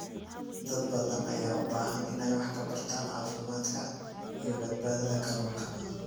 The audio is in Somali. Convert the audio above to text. Dad badan ayaa u baahan inay wax ka bartaan caafimaadka iyo badbaadada kalluunka.